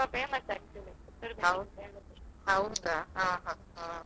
ಹೌದಾ ಹಾ ಹಾ ಹಾ.